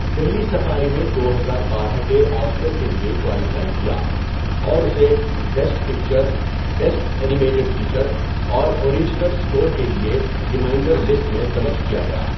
Delhi Safari نے دو ہزار بارہ کے آسکر کے لیے کوالیفائی کیا اور اسے best picture, best animated feature, اور اوریجنل اسکور کے لیے 'ریمائینڈر لسٹ' میں درج کیا گیا۔